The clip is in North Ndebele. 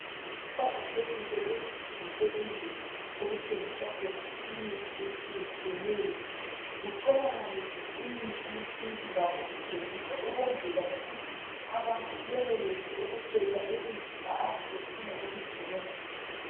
Kuqakathekile ukuthi ngasezindlini okuthengiswa khona imithi etshiyetshiyeneyo kutholakale imithi yesintu lakho ithengiswa ukwenzela ukuthi abantu benelise ukukhetha imithi abayabe befuna ukuyisebenzisa.